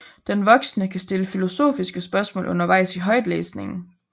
Den voksne kan stille filosofiske spørgsmål undervejs i højtlæsningen